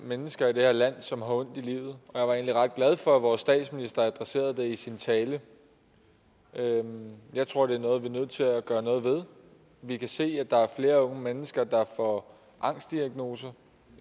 mennesker i det her land som har ondt i livet og jeg var glad for at vores statsminister adresserede det i sin tale jeg tror det er noget vi er nødt til at gøre noget ved vi kan se at der er flere unge mennesker der får angstdiagnoser